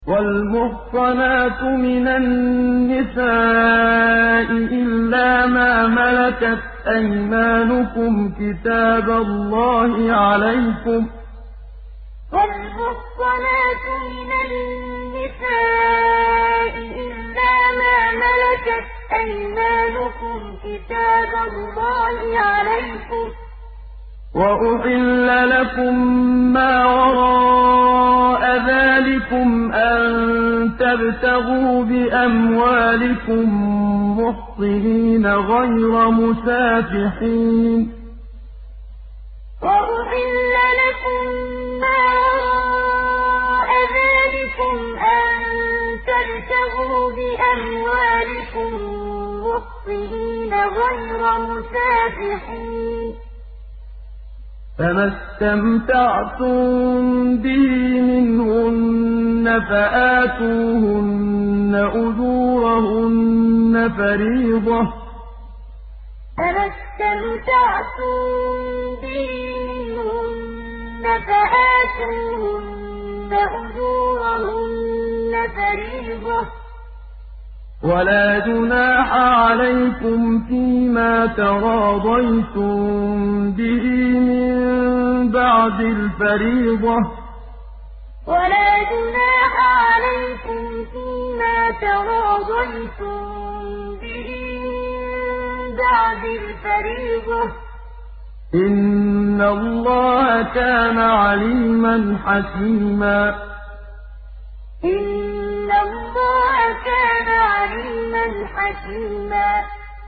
۞ وَالْمُحْصَنَاتُ مِنَ النِّسَاءِ إِلَّا مَا مَلَكَتْ أَيْمَانُكُمْ ۖ كِتَابَ اللَّهِ عَلَيْكُمْ ۚ وَأُحِلَّ لَكُم مَّا وَرَاءَ ذَٰلِكُمْ أَن تَبْتَغُوا بِأَمْوَالِكُم مُّحْصِنِينَ غَيْرَ مُسَافِحِينَ ۚ فَمَا اسْتَمْتَعْتُم بِهِ مِنْهُنَّ فَآتُوهُنَّ أُجُورَهُنَّ فَرِيضَةً ۚ وَلَا جُنَاحَ عَلَيْكُمْ فِيمَا تَرَاضَيْتُم بِهِ مِن بَعْدِ الْفَرِيضَةِ ۚ إِنَّ اللَّهَ كَانَ عَلِيمًا حَكِيمًا ۞ وَالْمُحْصَنَاتُ مِنَ النِّسَاءِ إِلَّا مَا مَلَكَتْ أَيْمَانُكُمْ ۖ كِتَابَ اللَّهِ عَلَيْكُمْ ۚ وَأُحِلَّ لَكُم مَّا وَرَاءَ ذَٰلِكُمْ أَن تَبْتَغُوا بِأَمْوَالِكُم مُّحْصِنِينَ غَيْرَ مُسَافِحِينَ ۚ فَمَا اسْتَمْتَعْتُم بِهِ مِنْهُنَّ فَآتُوهُنَّ أُجُورَهُنَّ فَرِيضَةً ۚ وَلَا جُنَاحَ عَلَيْكُمْ فِيمَا تَرَاضَيْتُم بِهِ مِن بَعْدِ الْفَرِيضَةِ ۚ إِنَّ اللَّهَ كَانَ عَلِيمًا حَكِيمًا